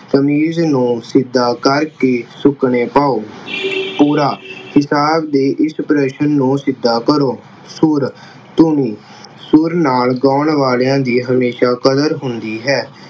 ਕਮੀਜ਼ ਨੂੰ ਸਿੱਧਾ ਕਰ ਕਿ ਸੁੱਕਣੇ ਪਾਉ। ਪੂਰਾ ਕਿਤਾਬ ਦੇ ਇਸ ਪ੍ਰਸ਼ਨ ਨੂੰ ਸਿੱਧਾ ਕਰੋ। ਸੁਰ, ਧੁਨ ਸੁਰ ਨਾਲ ਗਾਉਣ ਵਾਲੀਆਂ ਦੀ ਹਮੇਸ਼ਾ ਕਦਰ ਹੁੰਦੀ ਹੈ l